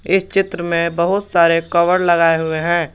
इस चित्र में बहुत सारे कवर लगाए हुए है।